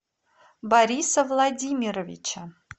бориса владимировича